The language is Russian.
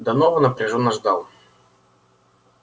донован напряжённо ждал